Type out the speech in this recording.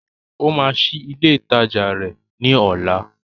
Ó máa ṣí ilé ìtajà rẹ̀ ní ọ̀la